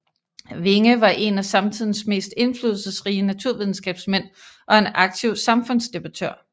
Winge var en af samtidens mest indflydelsesrige naturvidenskabsmænd og en aktiv samfundsdebattør